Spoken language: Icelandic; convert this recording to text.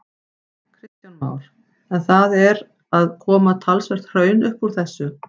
Kristján Már: En það er að koma talsvert hraun upp úr þessu?